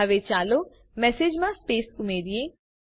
હવે ચાલો મેસેજમાં સ્પેસ ઉમેરીએ